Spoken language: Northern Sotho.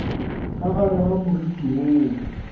ka gare ga moriti woo